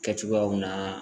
Kɛcogoyaw naa